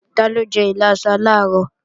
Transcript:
Taló jẹ́ ìlàsà làárọ̀?